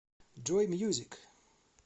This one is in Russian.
джой мьюзик